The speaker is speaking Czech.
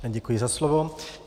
Děkuji za slovo.